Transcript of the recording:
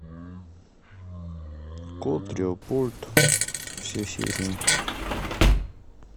кот леопольд все серии